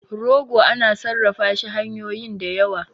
rogo ana sarrafa shi hanyoyin da yawa